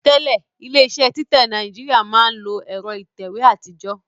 Tẹ́lẹ̀ ilé iṣẹ́ títẹ̀ jáde ní Nàìjíríà máa ń lo ẹ̀rọ ìtẹ̀wé àtijọ́